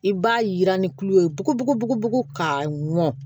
I b'a yira ni kulo ye bugubugu ka mɔn